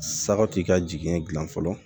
Saga t'i ka jinɛ gilan fɔlɔ